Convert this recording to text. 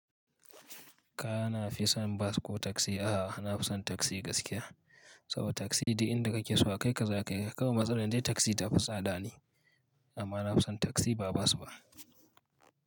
Ka na fi son bas ko taksi? A'a, na fi son taksi gaskiya. Saboda taksi duk inda ka ke so kai ka za ka kai. Kawai matsalar dai taksi ta fi tsada ne. Amma na fi son taksi ba bas ba.